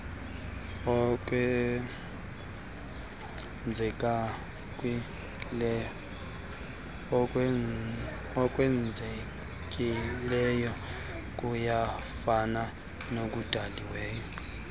okwenzekileyo kuyafana nokudaliweyo